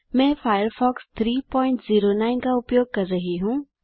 मैं फायरफॉक्स 309 का उपयोग कर रहा हूँ